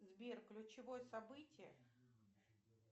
сбер ключевое событие